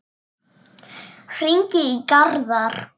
Hringi í Garðar.